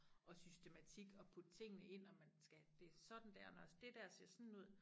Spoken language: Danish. Og systematik og putte tingene ind og man skal det sådan dér når det dér ser sådan ud